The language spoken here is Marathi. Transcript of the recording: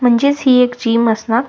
म्हणजेच हि एक जिम असणार.